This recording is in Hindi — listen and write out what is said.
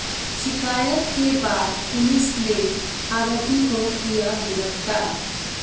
शिकायत के बाद पुलिस ने आरोपी को किया गिरफ्तार